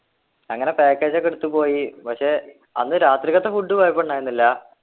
അങ്ങനെ package ഒക്കെ എടുത്തു പോയി പക്ഷെ അന്ന് രാത്രിക്കത്തെ food കൊയപ്പുണ്ടായിരുന്നില്ല